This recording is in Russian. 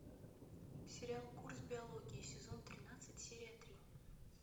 сериал курс биологии сезон тринадцать серия три